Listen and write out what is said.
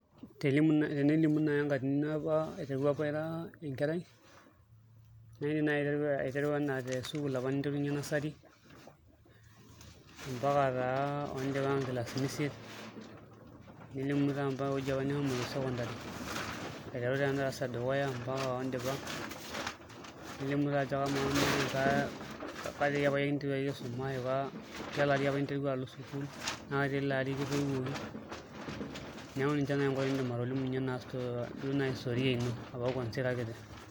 Tenilimu naai enkatini ino aiteru apa ira enkerai naidim naai aiteru enaa tesukul apa ninterunyie nursery ompaka naa nkilasini isiet nelimu taa ompaka ewueji apa nishomo secondary, aiteru taa endarasa edukuya oondipa nilimu taa ajo kamaa ketiai apa iyie interua aisuma tialo ari apa interua alo sukuul naa ketialo ari kitoiuoki neeku ninche naai nkuti niidim atolimunyie ina storia ina kuanzia apa ira kiti.